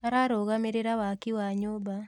Ararũgamĩrĩra waki wa nyũmba